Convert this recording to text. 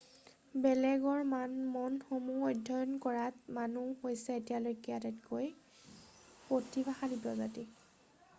বেলেগৰ মনসমূহ অধ্যয়ন কৰাত মানুহ হৈছে এতিয়ালৈখে আটাইতকৈ প্ৰতিভাশালী প্ৰজাতি৷